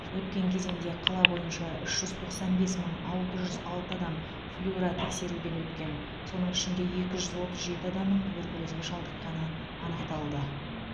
өткен кезеңде қала бойынша үш жүз тоқсан бес мың алты жүз алты адам флюоротексеруден өткен соның ішінде екі жүз отыз жеті адамның туберкулезге шалдықққаны анықталды